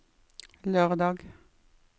lørdag